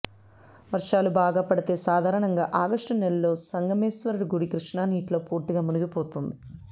వర్షాలు బాగా పడితే సాధారణంగా ఆగస్టు నెలలో సంగమేశ్వర గుడి కృష్ణా నీటిలో పూర్తిగా మునిగిపోతుంది